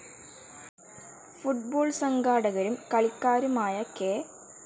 Football സംഘാടകരും കളിക്കാരുമായ K.